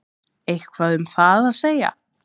Eitthvað um það að segja?